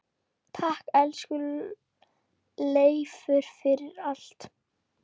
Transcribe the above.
Takk, elsku Leifur, fyrir allt.